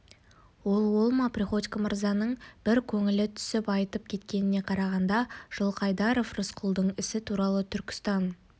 ол ол ма приходько мырзаның бір көңілі түсіп айтып кеткеніне қарағанда жылқайдаров рысқұлдың ісі туралы түркістан